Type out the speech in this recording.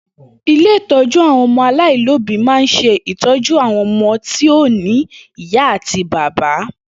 Ilé ìtọ́jú àwọn ọmọ aláìlóbìí ma ń se ìtọ́jú àwọn ọmọ tí ò ní ìyá àti bàbá.